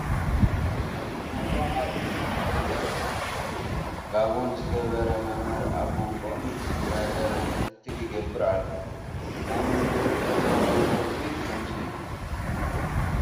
ተመሃሮ ኣብ ክፍሊ ተቐሚጦም ኣለዉ፡፡ ጋቦን ዝገበረ መምህር ኣብ መንጎኦም እንዳዞረ ክትትል ይገብር ኣሎ፡፡ ናይ መምህርን ተመሃሮን ረኽቢ ከምዚ እዩ፡፡